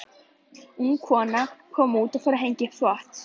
Ung kona kom út og fór að hengja upp þvott.